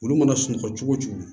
Olu mana sunɔgɔ cogo cogo